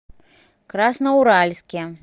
красноуральске